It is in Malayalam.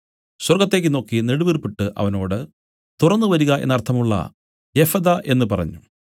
സ്വർഗ്ഗത്തേക്ക് നോക്കി നെടുവീർപ്പിട്ടു അവനോട് തുറന്നുവരിക എന്നു അർത്ഥമുള്ള എഫഥാ എന്നു പറഞ്ഞു